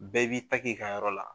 Bɛɛ b'i ta k'i ka yɔrɔ la